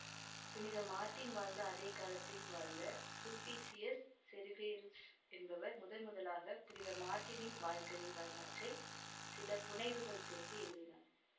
புனித மார்ட்டின் வாழ்ந்த அதே காலத்தில் வாழ்ந்த சுல்ப்பீசியுஸ் செவேருஸ் என்பவர் முதன்முதலாக புனித மார்ட்டினின் வாழ்க்கை வரலாற்றை சில புனைவுகள் சேர்த்து எழுதினார்